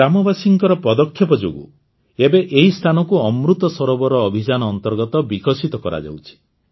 ଗ୍ରାମବାସୀଙ୍କ ପଦକ୍ଷେପ ଯୋଗୁଁ ଏବେ ଏହି ସ୍ଥାନକୁ ଅମୃତ ସରୋବର ଅଭିଯାନ ଅନ୍ତର୍ଗତ ବିକଶିତ କରାଯାଉଛି